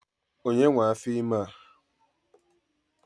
Onye nwe afor ime a?